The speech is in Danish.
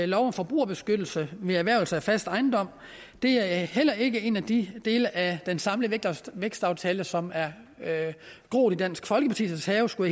lov om forbrugerbeskyttelse ved erhvervelse af fast ejendom det er heller ikke en af de dele af den samlede vækstaftale som er groet i dansk folkepartis have skulle